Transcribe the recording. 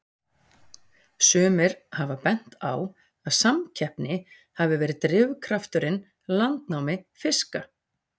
Sumir hafa bent á að samkeppni hafi verið drifkrafturinn landnámi fiska.